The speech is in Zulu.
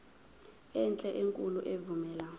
enhle enkulu evumela